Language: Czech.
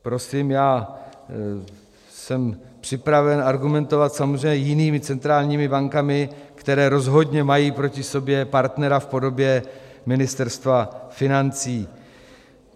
Prosím, já jsem připraven argumentovat samozřejmě jinými centrálními bankami, které rozhodně mají proti sobě partnera v podobě Ministerstva financí.